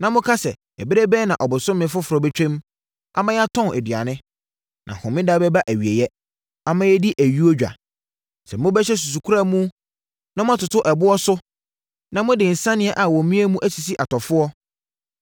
na moka sɛ, “Ɛberɛ bɛn na ɔbosome foforɔ bɛtwam ama yɛatɔn aduane, na Homeda bɛba awieeɛ ama yɛadi ayuo dwa?” Sɛ mobɛhyɛ susukora mu na moatoto ɛboɔ so na mode nsania a wɔamia mu asisi atɔfoɔ,